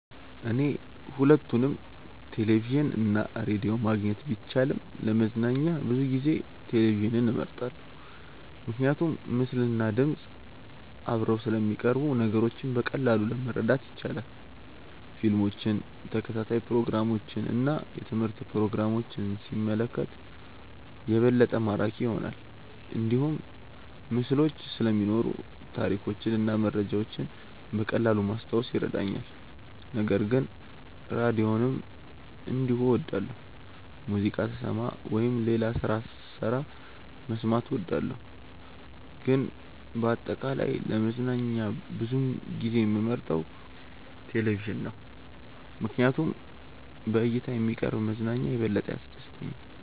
እኔ ሁለቱንም ቴሌቪዥን እና ራዲዮ ማግኘት ቢቻልም ለመዝናኛ ብዙ ጊዜ ቴሌቪዥንን እመርጣለሁ። ምክንያቱም ምስልና ድምፅ አብረው ስለሚቀርቡ ነገሮችን በቀላሉ ማረዳት ይቻላል። ፊልሞችን፣ ተከታታይ ፕሮግራሞችን እና የትምህርት ፕሮግራሞችን ሲመለከት የበለጠ ማራኪ ይሆናል። እንዲሁም ምስሎች ስለሚኖሩ ታሪኮችን እና መረጃዎችን በቀላሉ ማስታወስ ይረዳኛል። ነገር ግን ራዲዮንም እንዲሁ እወዳለሁ፣ ሙዚቃ ስሰማ ወይም ሌላ ስራ ስሰራ መስማት እወዳለሁ። ግን በአጠቃላይ ለመዝናኛ ብዙ ጊዜ የምመርጠው ቴሌቪዥን ነው ምክንያቱም በእይታ የሚቀርብ መዝናኛ የበለጠ ያስደስተኛል።